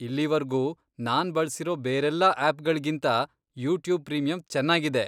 ಇಲ್ಲೀವರ್ಗೂ ನಾನ್ ಬಳ್ಸಿರೋ ಬೇರೆಲ್ಲ ಆಪ್ಗಳ್ಗಿಂತಾ ಯೂಟ್ಯೂಬ್ ಪ್ರೀಮಿಯಮ್ ಚೆನ್ನಾಗಿದೆ.